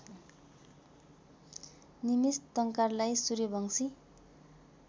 निमिस टंकारलाई सूर्यवंशी